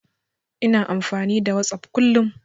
Ina amfani da Whatsapp kullum.